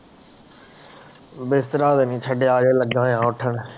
ਬਿਸਤਰਾ ਹਜੇ ਨਹੀਂ ਛੱਡਿਆ ਅਜੇ ਲਗਾ ਆ ਉੱਠਣ